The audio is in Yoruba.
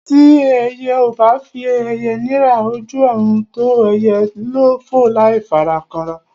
Tí ẹyẹ ò bá fi ẹyẹ nira, ojú ọ̀run tó ẹyẹ fò láì fara kanra.